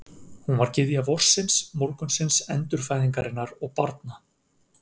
Hún var gyðja vorsins, morgunsins, endurfæðingarinnar og barna.